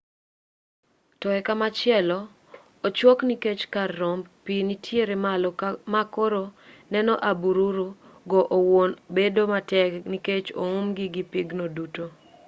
to e komachielo ochuok nikech kar romb pi nitiere malo ma koro neno abururu go owuon bedo matek nikech oumgi gi pigno duto